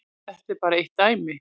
Þetta er bara eitt dæmi.